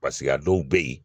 Paseke a dɔw bɛ yen